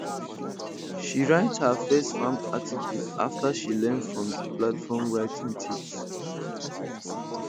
she write her first farm article after she learn from di platform writing tips